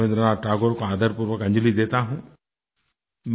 मैं रबीन्द्र नाथ ठाकुर को आदरपूर्वक अंजलि देता हूँ